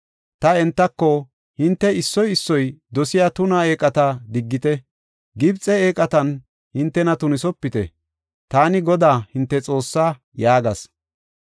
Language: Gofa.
Ta entako, ‘Hinte issoy issoy dosiya tuna eeqata diggite; Gibxe eeqatan hintena tunisopite. Taani Godaa hinte Xoossaa’ ” yaagas.